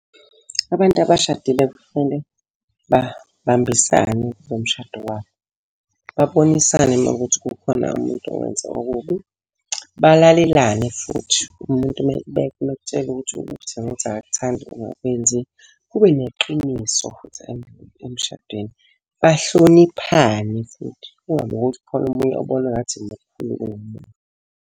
Abantu abashadile kufanele babambisane kulo mshado wabo. Babonisane uma kuwukuthi kukhona umuntu owenze okubi. Balalelane futhi, umuntu uma ekutshela ukuthi ukuthi nokuthi akakuthandi ungakwenzi. Kube neqiniso futhi emshadweni. Bahloniphane futhi, kungabi ukuthi kukhona omunye obona ngathi yena mkhulu kunomunye.